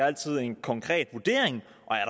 altid en konkret vurdering